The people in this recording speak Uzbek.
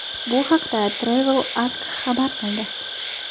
Bu haqda TravelAsk xabar qildi.